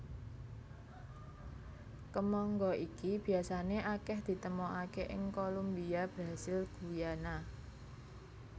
Kemangga iki biasané akèh ditemokaké ing Kolumbia Brasil Guyana